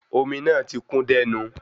Omi náà ti kún dẹ́nu